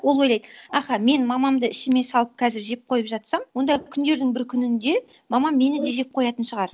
ол ойлайды аха мен мамамды ішіме салып қазір жеп қойып жатсам онда күндердің бір күнінде мамам мені де жеп қоятын шығар